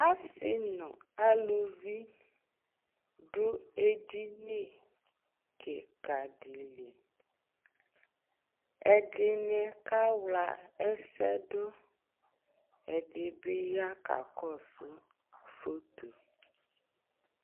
Asɩ nʋ aluvl dʋ edini kɩkadɩ; ɛdɩnɩ kawla ɛsɛdʋ Ɛdɩ bɩ ya ka kɔsʋ fotoe